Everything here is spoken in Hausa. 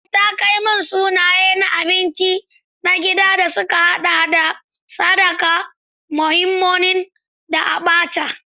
Ee, takamaiman sunaye na abinci na gida sun haɗa da Sakada, Moninmonin, da Abacha.